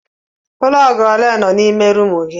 Plọg ole nọ n'ime rumụ gị.